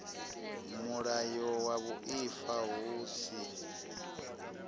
mulayo wa vhuaifa hu si